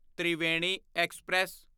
Triveni express